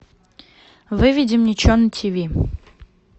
выведи мне че на тиви